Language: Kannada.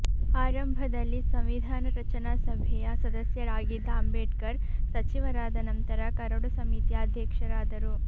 ಆರಂಭದಲ್ಲಿ ಸಂವಿಧಾನ ರಚನಾ ಸಭೆಯ ಸದಸ್ಯರಾಗಿದ್ದ ಅಂಬೇಡ್ಕರ್ ಸಚಿವರಾದ ನಂತರ ಕರಡು ಸಮಿತಿಯ ಅಧ್ಯಕ್ಷರಾದರು